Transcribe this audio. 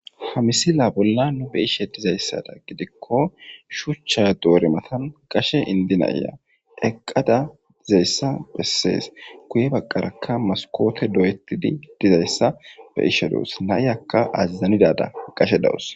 ha misila bolla nu be ishe dizayssada gidikko shuchcha doore matan qashe indinaya eqqada dizayssa bessees guye baqqarakka maskoote do7ettidi dizayssa be ishe dous naiyakka azazanidada qashe dawus